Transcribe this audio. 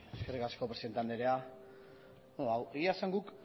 eskerrik asko presidente anderea egia esan guk